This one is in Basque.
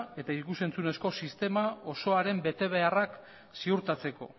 eta ikus entzunezko sistemaren betebeharrak ziurtatzeko